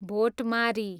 भोटमारी